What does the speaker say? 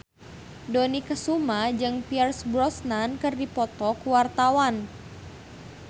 Dony Kesuma jeung Pierce Brosnan keur dipoto ku wartawan